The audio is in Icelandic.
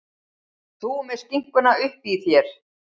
Þú með skinkuna uppí þér.